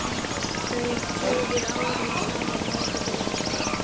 Þau hefur árum saman langað til að hitta þig.